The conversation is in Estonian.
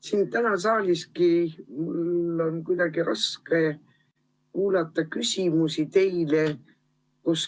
Mul on täna siin saaliski kuidagi raske teile esitatud küsimusi kuuluata.